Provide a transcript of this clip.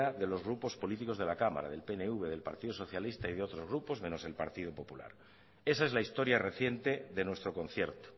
de los grupos políticos de la cámara del pnv del partido socialista y de otros grupo menos el partido popular esa es la historia reciente de nuestro concierto